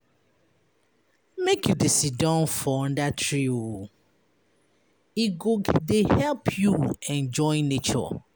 Make you dey siddon for under tree oo e go dey help you enjoy nature.